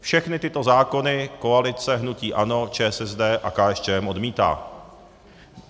Všechny tyto zákony koalice hnutí ANO, ČSSD a KSČM odmítá.